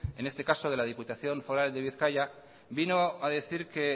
en este caso de la diputación foral de bizkaia vino a decir que